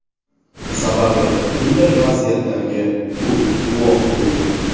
Sababi bunday vaziyatlarga ko‘p guvoh bo‘lgan.